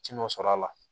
Ci nɔ sɔrɔ a la